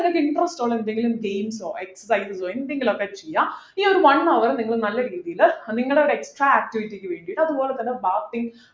നിങ്ങൾക്ക് interest ഉള്ള എന്തെങ്കിലും games ഓ extra എന്തെങ്കിലുഒക്കെ ചെയ്യാ ഈ ഒരു one hour നിങ്ങളെ നല്ല രീതിയില് നിങ്ങളുടെ extra activity ക്കു വേണ്ടിട്ട് അതുപോലെ തന്നെ bathing